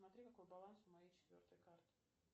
посмотри какой баланс у моей четвертой карты